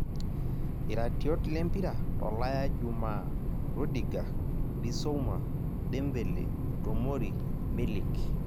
iratiot lempira tolaya jumaa; rudiga, Bisouma, Dembele, Tomori, Milik